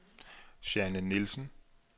Jeanne Nielsen